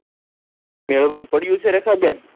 મેળવન પડ્યું છે રેખા બેન